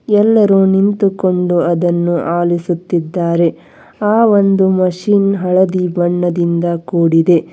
ಎಲ್ಲರೂ ನಿಂತುಕೊಂಡು ಅದನ್ನು ಆಲಿಸುತ್ತಿದ್ದಾರೆ ಆ ಒಂದು ಮಷೀನ್ ಹಳದಿ ಬಣ್ಣದಿಂದ ಕೂಡಿದೆ.